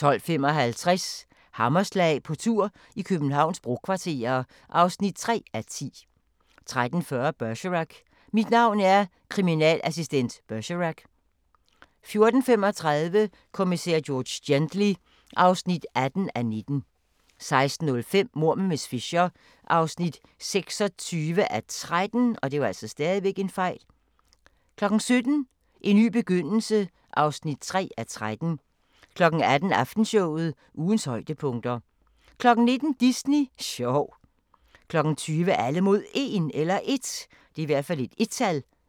12:55: Hammerslag – på tur i Københavns brokvarterer (3:10) 13:40: Bergerac: Mit navn er kriminalassistent Bergerac 14:35: Kommissær George Gently (18:19) 16:05: Mord med miss Fisher (26:13) 17:00: En ny begyndelse (3:13) 18:00: Aftenshowet – ugens højdepunkter 19:00: Disney sjov 20:00: Alle mod 1